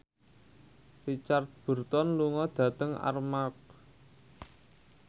Richard Burton lunga dhateng Armargh